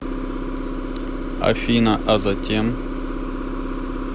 афина а затем